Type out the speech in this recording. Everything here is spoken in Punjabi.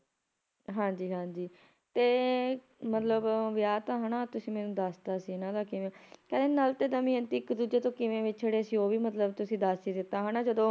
ਹਾਂਜੀ ਹਾਂਜੀ ਤੇ ਮਤਲਬ ਵਿਆਹ ਤਾਂ ਹਨਾਂ ਤੁਸੀ ਮੈਨੂੰ ਦਸਤਾ ਸੀ ਇਹਨਾਂ ਦਾ ਕਿਵੇਂ ਕਹਿੰਦੇ ਨਲ ਤੇ ਦਮਿਅੰਤੀ ਇੱਕ ਦੂਜੇ ਤੋਂ ਕਿਵੇਂ ਵਿਛੜੇ ਸੀ ਉਹ ਵੀ ਮਤਲਬ ਤੁਸੀ ਦੱਸ ਹੀ ਦਿੱਤਾ ਹਨਾਂ ਜਦੋਂ